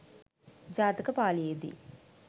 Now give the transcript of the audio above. ජාතක පාලියේදී